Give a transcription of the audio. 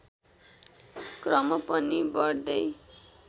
क्रम पनि बढ्दै